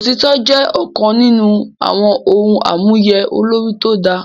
Òtítọ́ jẹ́ ọ̀kan nínú àwọn ohun àmúyẹ olórí tó dáa